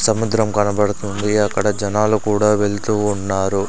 సముద్రం కనబడుతుంది అక్కడ జనాలు కూడా వెళ్తూ ఉన్నారు.